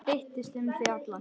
Þeytist um þig allan.